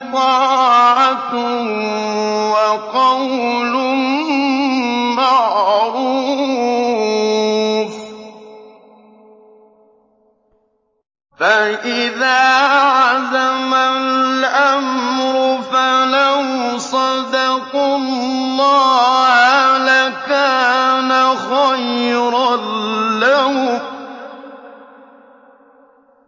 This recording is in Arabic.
طَاعَةٌ وَقَوْلٌ مَّعْرُوفٌ ۚ فَإِذَا عَزَمَ الْأَمْرُ فَلَوْ صَدَقُوا اللَّهَ لَكَانَ خَيْرًا لَّهُمْ